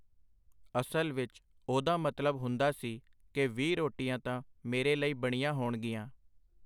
ਅਸਲ ਵਿੱਚ ਉਹਦਾ ਮਤਲਬ ਹੁੰਦਾ ਸੀ ਕਿ ਵੀਹ ਰੋਟੀਆਂ ਤਾਂ ਮੇਰੇ ਲਈ ਬਣੀਆਂ ਹੋਣਗੀਆਂ.